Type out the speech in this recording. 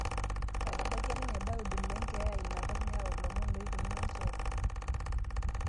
Etabakia ninye Daudi le nkya inakop neyau ilomon oikununo njere